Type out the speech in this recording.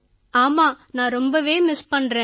ஆமா நான் ரொம்பவே மிஸ் பண்றேன்